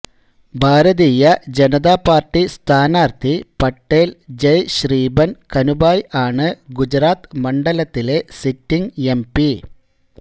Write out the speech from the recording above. ഭാരതീയ Janata Party സ്ഥാനാർഥി പട്ടേൽ ജെയ്ശ്രീബൻ കനുഭായ് ആണ് ഗുജറാത്ത് മണ്ഡലത്തിലെ സിറ്റിങ് എംപി